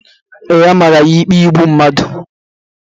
Ee, a mara ya ikpe igbu mmadụ